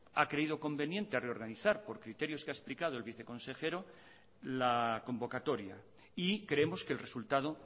ha creído conveniente reorganizar los criterios que ha explicado el viceconsejero la convocatoria y creemos que el resultado